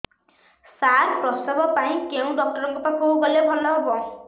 ସାର ପ୍ରସବ ପାଇଁ କେଉଁ ଡକ୍ଟର ଙ୍କ ପାଖକୁ ଗଲେ ଭଲ ହେବ